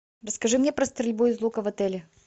расскажи мне про стрельбу из лука в отеле